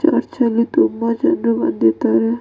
Church ಅಲ್ಲಿ ತುಂಬಾ ಜನ ಬಂದಿದ್ದಾರೆ.